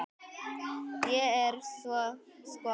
Ég er sko farin.